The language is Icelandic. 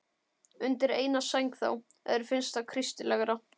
Undir eina sæng þá, ef þér finnst það kristilegra.